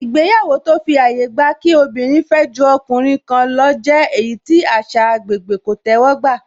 Ìgbéyàwó tó fi àyè gba kí obìnrin fẹ́ ju ọkùnrin kan lọ jẹ́ èyí tí àṣà agbègbè kò tẹ́wọ́ gbà